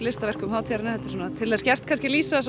af verkum hátíðarinnar þetta er svona til þess gert kannski að lýsa